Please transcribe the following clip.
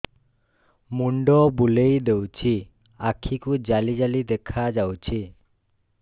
ମୁଣ୍ଡ ବୁଲେଇ ଦେଉଛି ଆଖି କୁ ଜାଲି ଜାଲି ଦେଖା ଯାଉଛି